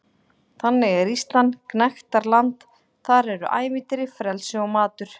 Þannig er Ísland gnægtaland- þar eru ævintýri, frelsi og matur.